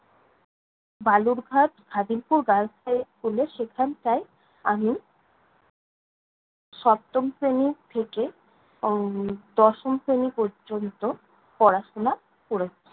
Balurghat Khadimpur girls high school এ সেখানটায় আমি সপ্তম শ্রেণী থেকে উম দশম শ্রেণী পর্যন্ত পড়াশোনা করেছি।